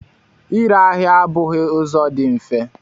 Ịre ahịa abụghị ụzọ dị mfe.